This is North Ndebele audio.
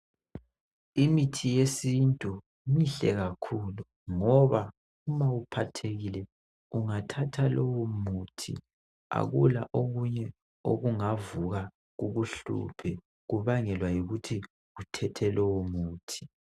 Imithi yesintu mihle kakhulu ngoba uma uphathekile ungathatha lowu muthi akula okunye okungavuka kukuhluphe kubangelwa yikuthi uthethe lowo muthi.